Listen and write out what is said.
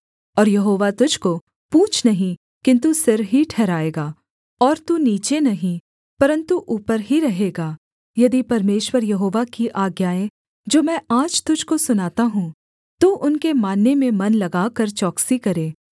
और यहोवा तुझको पूँछ नहीं किन्तु सिर ही ठहराएगा और तू नीचे नहीं परन्तु ऊपर ही रहेगा यदि परमेश्वर यहोवा की आज्ञाएँ जो मैं आज तुझको सुनाता हूँ तू उनके मानने में मन लगाकर चौकसी करे